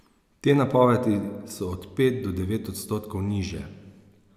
Te napovedi so od pet do devet odstotkov nižje.